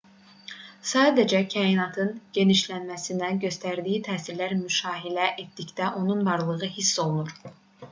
sadəcə kainatın genişləməsinə göstərdiyi təsirləri müşahidə etdikdə onun varlığı hiss olunur